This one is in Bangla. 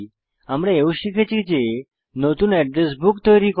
আমরা এও শিখেছি যে নতুন এড্রেস বুক তৈরী করা